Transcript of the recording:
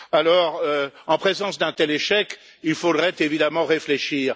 Alors, en présence d'un tel échec, il faudrait évidemment réfléchir.